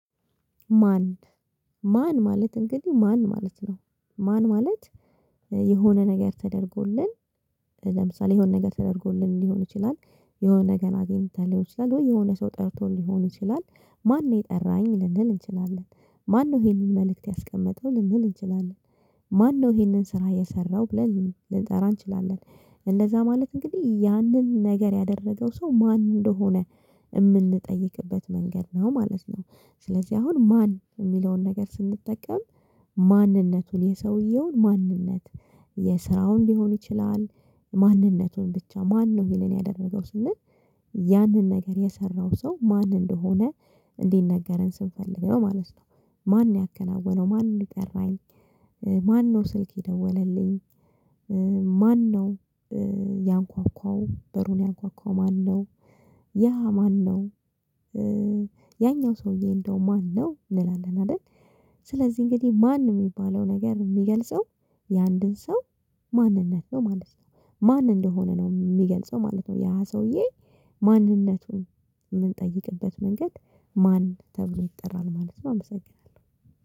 ማን? ማን ማለት እንግዲህ ማን ማለት ነው ማን ማለት? የሆነ ነገር ተደርጎልን። ለምሳሌ የሆነ ነገር ተደርጎልን ሊሆን ይችላል። የሆነ ነገር አግኝተህ ሊሆን ይችላል ወይ የሆነ ሰው ጠርቶ ሊሆን ይችላል። ማነኝ የጠራኝ ልንል እንችላለን? ማነው ይሄንን መልእክት ያስቀመጠው ልንል እንችላለን? ማነው ይሄንን ስራ የሰራው ብለን ልንጠራ እንችላለን? እንደዛ ማለት እንግዲህ ያንን ነገር ያደረገው ሰው ማን እንደሆነ የምንጠይቅበት መንገድ ነው ማለት ነው። ስለዚህ አሁን ማን የሚለውን ነገር ስንጠቀም ማንነቱን የሰውየውን ማንነት የስራውን ሊሆን ይችላል። ማንነቱን ብቻ ማነው እሄንን ያደረገው ስንል ያንን ነገር የሰራው ሰው ማን እንደሆነ እንዲነገረን ስንፈልግ ነው ማለት ነው። ማን ያከናወነው ማን የጠራኝ? ማነው ስልክ የደወለልኝ? ማነው? ያንኳኳው በሩን ያንኳኳው ማነው? ያ ማነው? ያኛው ሰውዬ እንደው ማነው እንላለን አይደል? ስለዚህ እንግዲህ ማን የሚባለው ነገር የሚገልጸው የአንድን ሰው ማንነት ነው ማለት ነው። ማን እንደሆነ ነው የሚገልጸው ማለት ነው። ያ ሰውዬ ማንነቱን የምንጠይቅበት መንገድ ማን ተብሎ ይጠራል ማለት ነው። አመሰግናለሁ